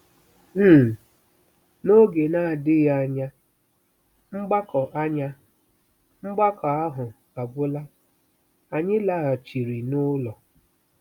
um N'oge na-adịghị anya, mgbakọ anya, mgbakọ ahụ agwụla, anyị laghachiri n'ụlọ.